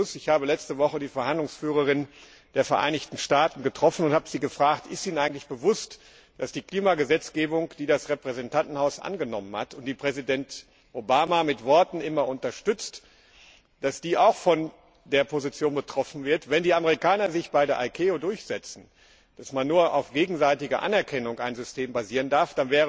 Ich habe letzte Woche die Verhandlungsführerin der Vereinigten Staaten getroffen und sie gefragt Ist Ihnen eigentlich bewusst, dass die Klimagesetzgebung, die das Repräsentantenhaus angenommen hat und die Präsident Obama mit Worten immer unterstützt, ebenfalls von der Position betroffen wird, wenn die Amerikaner sich bei der ICAO damit durchsetzen, dass man ein System nur auf gegenseitige Anerkennung basieren darf.